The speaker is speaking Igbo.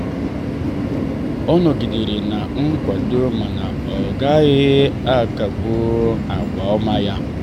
ọ nọgidere na nkwado mana ọ gaghị akagbu àgwà ọma ya.